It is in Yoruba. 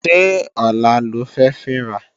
Ṣé ọ̀la lo fẹ́ fín ra?